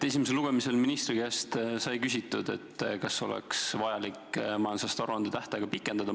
Esimesel lugemisel sai ministri käest küsitud, kas oleks vajalik majandusaasta aruande tähtaega pikendada.